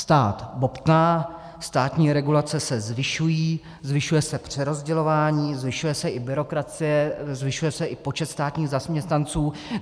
Stát bobtná, státní regulace se zvyšují, zvyšuje se přerozdělování, zvyšuje se i byrokracie, zvyšuje se i počet státních zaměstnanců.